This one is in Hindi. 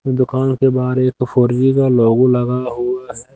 दुकान के बाहर एक फोर जी का लोगो लगा हुआ है।